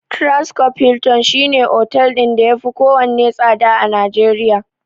Transcorp Hilton shi ne otel ɗin da yafi kowanne tsada a Najeriya.